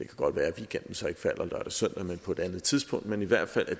godt være at weekenden så ikke falder lørdag og søndag men på et andet tidspunkt men i hvert fald at